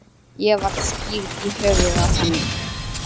Ég var skírð í höfuðið á henni.